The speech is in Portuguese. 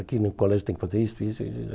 Aqui no colégio tem que fazer isso e isso.